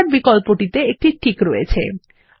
standard বিকল্পটিটে একটি tick রয়েছে